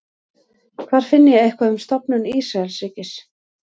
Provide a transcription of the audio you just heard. hvar finn ég eitthvað um stofnun ísraelsríkis